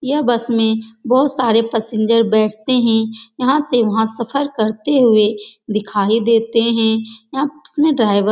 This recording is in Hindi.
यह बस में बोहोत सारे पसेन्जर बैठते हैं। यहाँ से वहाँ सफर करते हुए दिखाई देते हैं। आप्स में ड्राईवर --